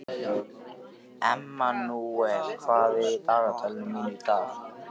Emmanúel, hvað er á dagatalinu mínu í dag?